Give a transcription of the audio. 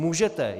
Můžete!